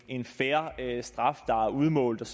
en fair straf der er udmålt